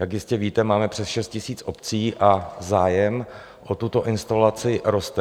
Jak jistě víte, máme přes 6 000 obcí a zájem o tuto instalaci roste.